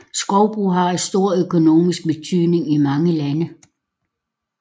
Skovbrug har en stor økonomisk betydning i mange lande